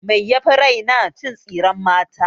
Mai yafi raina? cin tsiren mata.